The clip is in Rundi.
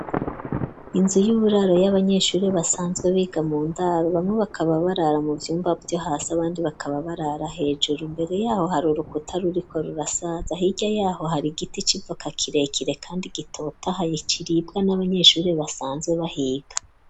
Inzu y'uburaro y'abanyeshuri basanzwe biga mu ndaro bamwe bakaba barara mu vyumba vyo hasi abandi bakaba barara hejuru. Imbere yaho hari urukuta ruriko rurasaza, hirya yaho hari igiti c'ivoka kirekire kandi gitotahaye kiribwa n'abanyeshuri basanzwe bahiga.